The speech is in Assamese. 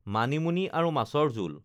মানিমুনি আৰু মাছৰ জোল